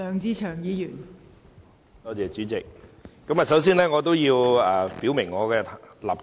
代理主席，我首先要表明我的立場。